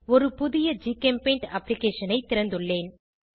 ஒரு புதிய ஜிகெம்பெய்ண்ட் அப்ளிகேஷன் ஐ திறந்துள்ளேன்